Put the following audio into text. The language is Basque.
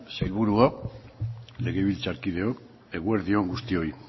sailburuok legebiltzarkideok eguerdi on guztioi